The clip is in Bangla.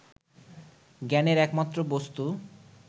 জ্ঞানের একমাত্র বস্তু